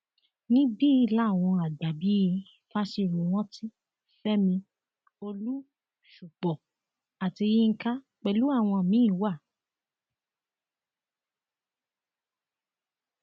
níbi làwọn àgbà bíi fásiròrántí fẹmi olú ṣúpó àti yinka pẹlú àwọn míín wa